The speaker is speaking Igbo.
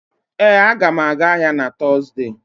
Ee, m ga-aga ahịa na Tọzdee